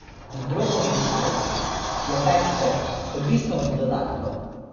Zdrobovih halv je več vrst, odvisno od dodatkov.